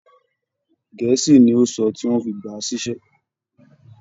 Gẹ̀ẹ́sì ni ó sọ tí wọ́n fi gbà á síṣẹ́